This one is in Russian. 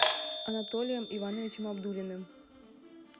анатолием ивановичем абдуллиным